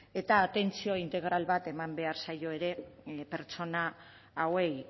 eta atentzioa integral bat eman behar zaio ere pertsona hauei